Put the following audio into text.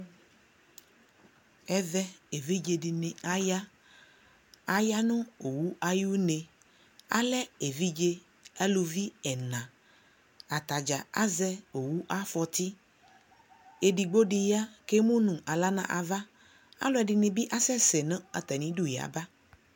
ɛvɛ ɛvidzɛ diniaya, ayanʋ ɔwʋ ayi ʋnɛ, alɛ ɛvidzɛ alʋvi ɛna, atagya azɛ ɔwʋ aƒɔti, ɛdigbɔ di ya kʋ ɛmʋnʋ ala nʋ aɣa, alʋɛdini bi asɛsɛ nʋatami idʋ yaba